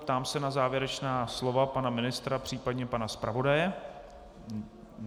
Ptám se na závěrečná slova pana ministra, případně pana zpravodaje.